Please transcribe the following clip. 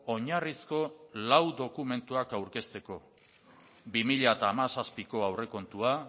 oinarrizko lau dokumentuak aurkezteko bi mila hamazazpiko aurrekontua